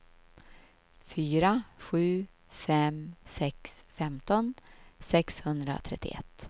fyra sju fem sex femton sexhundratrettioett